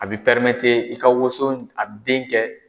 A b'i i ka woson a bi den kɛ.